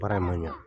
Baara in ma ɲa